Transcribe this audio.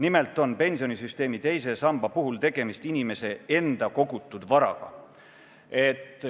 Nimelt on pensionisüsteemi teise samba puhul tegemist inimese enda kogutud varaga.